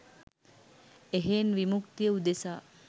එහෙයින් විමුක්තිය උදෙසා